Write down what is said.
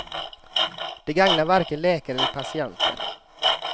Det gagnar varken läkare eller patienter.